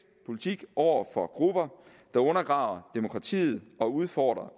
politik over for grupper der undergraver demokratiet og udfordrer